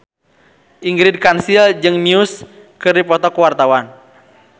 Ingrid Kansil jeung Muse keur dipoto ku wartawan